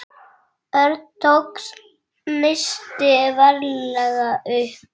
Örn tók nistið varlega upp.